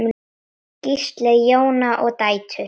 Gísli, Jóna og dætur.